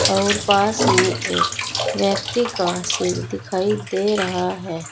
और पास में एक व्यक्ति का सिर दिखाई दे रहा है।